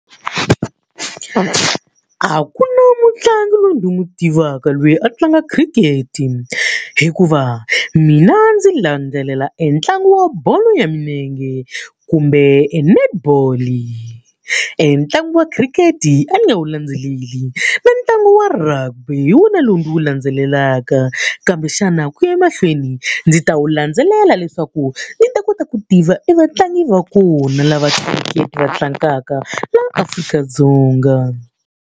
A ku na mutlangi loyi ni n'wi tivaka loyi a tlanga khirikhete, hikuva mina ndzi landzelela entlangu wa bolo ya milenge kumbe net ball-i. Entlangu wa khirikhete a ni nga wu landzeleli, na ntlangu wa rugby hi wona lowu ndzi wu landzelelaka. Kambe xana ku ya emahlweni ndzi ta wu landzelela leswaku ndzi ta kota ku tiva evatlangi va kona lava khirikhete va tlangaka laha Afrika-Dzonga.